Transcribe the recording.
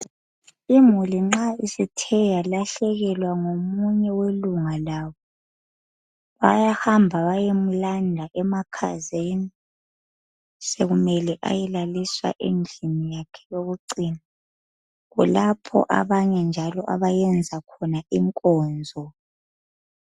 imuli nxa isethe yalahlekelwa ngomunye welunga labo bayahamba bayemlanda emakhazeni sekumele ayelaliswa endlini yakhe yokucina kulapho abanye njalo abayenza khona inkonzo